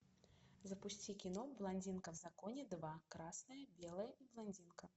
запусти кино блондинка в законе два красное белое и блондинка